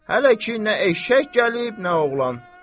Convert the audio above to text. Hələ ki, nə eşşək gəlib, nə oğlan.